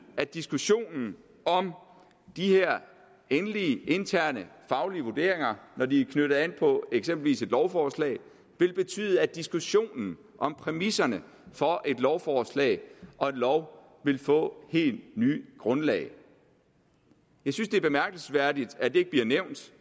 at diskussionen om de her endelige interne faglige vurderinger når de er knyttet an på eksempelvis et lovforslag vil betyde at diskussionen om præmisserne for et lovforslag og en lov vil få helt nyt grundlag jeg synes det er bemærkelsesværdigt at det ikke bliver nævnt